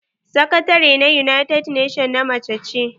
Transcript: Sakatare na united nation na mace ce.